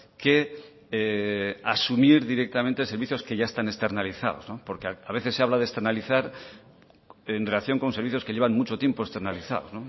que asumir directamente servicios que ya están externalizados porque a veces se habla de externalizar en relación con servicios que llevan mucho tiempo externalizados